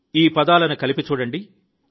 ఈ పదాలను కలిసి చూడండి